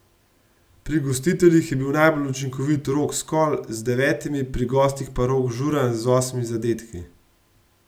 Pri gostiteljih je bil najbolj učinkovit Rok Skol z devetimi, pri gostih pa Rok Žuran z osmimi zadetki.